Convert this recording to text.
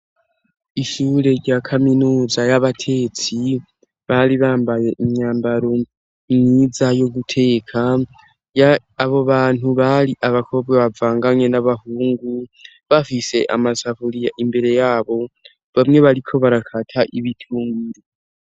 Ishure rya kaminuza y'abatetsi bari bambaye imyambaro myiza yo guteka abo bantu bari abakobwa bavanganye n'abahungu bafise amasafuriya imbere yabo bamwe bariko barakata ibitunguru.